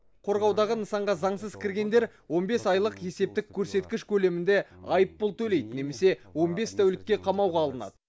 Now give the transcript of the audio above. қорғаудағы нысанға заңсыз кіргендер он бес айлық есептік көрсеткіш көлемінде айыппұл төлейді немесе он бес тәулікке қамауға алынады